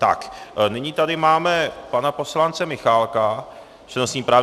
Tak, nyní tady máme pana poslance Michálka s přednostním právem.